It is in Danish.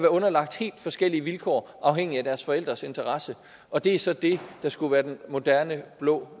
underlagt helt forskellige vilkår afhængigt af deres forældres interesser og det er så det der skulle være den moderne blå